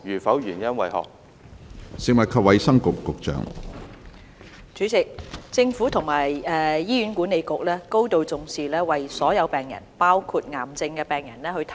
關於現行的醫療政策，醫管局會提供最適切的治療給所有病人，包括癌症病人。